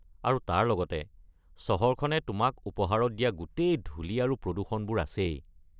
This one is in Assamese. আৰু তাৰ লগতে চহৰখনে তোমাক উপহাৰত দিয়া গোটেই ধূলি আৰু প্ৰদূষণবোৰ আছেই।